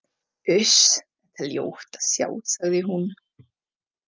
Uss, þetta er ljótt að sjá, sagði hún.